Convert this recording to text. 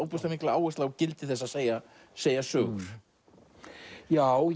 áherslu á gildi þess að segja að segja sögur já